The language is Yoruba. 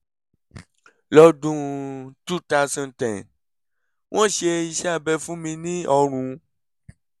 lọ́dún 2010 wọ́n ṣe iṣẹ́ abẹ fún mi ní ọrùn